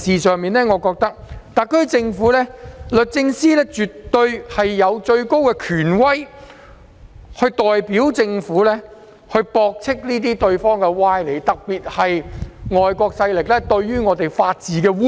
就此，我認為特區政府的律政司絕對有最高權威，可代表政府駁斥這些歪理，特別是外國勢力對香港法治的污衊。